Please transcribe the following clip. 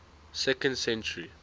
second century